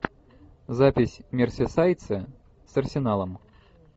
запись мерсисайдцы с арсеналом